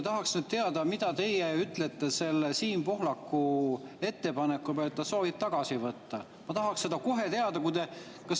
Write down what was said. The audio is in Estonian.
Tahaks nüüd teada, mida teie ütlete selle Siim Pohlaku ettepaneku peale, et ta soovib tagasi võtta.